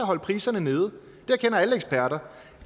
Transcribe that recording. holde priserne nede det erkender alle eksperter